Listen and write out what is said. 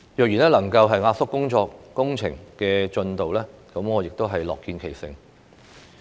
若然能夠壓縮工程的進度，我亦樂見其成。